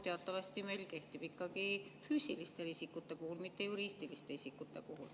Teatavasti isikukood meil kehtib ikkagi füüsiliste isikute puhul, mitte juriidiliste isikute puhul.